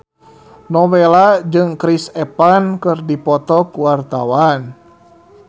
Nowela jeung Chris Evans keur dipoto ku wartawan